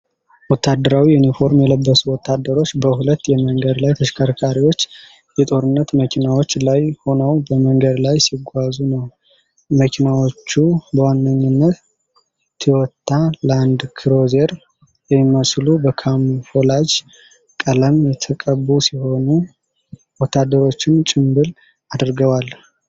ወታደራዊ ዩኒፎርም የለበሱ ወታደሮች በሁለት የመንገድ ላይ ተሽከርካሪዎች የጦርነት መኪናዎች ላይ ሆነው በመንገድ ላይ ሲጓዙነው። መኪናዎቹ በዋናነት ቶዮታ ላንድክሩዘር የሚመስሉ በካሞፍላጅ ቀለም የተቀቡ ሲሆኑ፣ ወታደሮቹም ጭምብል አድርገዋል።